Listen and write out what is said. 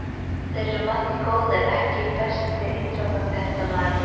Þeir eru margir góðir EKKI besti íþróttafréttamaðurinn?